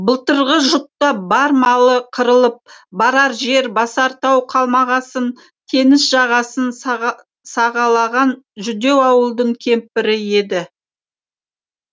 былтырғы жұтта бар малы қырылып барар жер басар тау қалмағасын теңіз жағасын сағалаған жүдеу ауылдың кемпірі еді